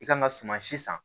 I kan ka suma si san